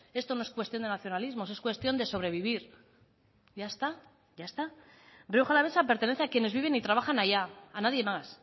esto no es cuestión de nacionalismos es cuestión de sobrevivir ya está ya está rioja alavesa pertenece a quienes viven y trabajan allá a nadie más